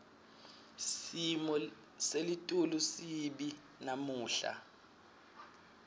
simo selitulu sibi namuhla